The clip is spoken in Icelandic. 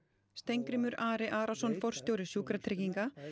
Steingrímur Ari Arason forstjóri Sjúkratrygginga